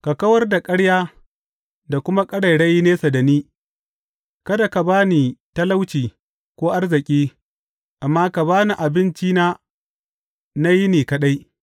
Ka kawar da ƙarya da kuma ƙarairayi nesa da ni; kada ka ba ni talauci ko arziki, amma ka ba ni abincina na yini kaɗai.